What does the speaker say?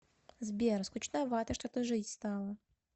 сбер скучновато что то жить стало